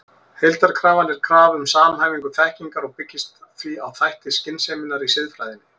Heildarkrafan er krafa um samhæfingu þekkingar og byggist því á þætti skynseminnar í siðfræðinni.